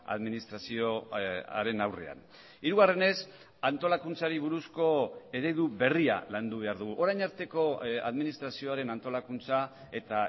administrazioaren aurrean hirugarrenez antolakuntzari buruzko eredu berria landu behar dugu orain arteko administrazioaren antolakuntza eta